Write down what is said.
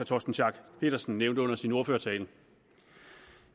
torsten schack pedersen nævnte under sin ordførertale